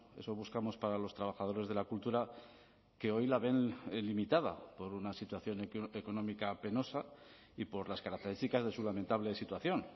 eso buscamos para los trabajadores de la cultura que hoy la ven limitada por una situación económica penosa y por las características de su lamentable situación